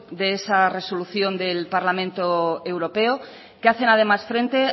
de esa resolución del parlamento europeo que hacen además frente